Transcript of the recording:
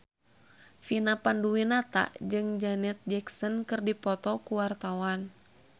Vina Panduwinata jeung Janet Jackson keur dipoto ku wartawan